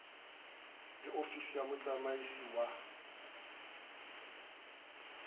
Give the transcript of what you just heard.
le ofisi ya motsamaisi wa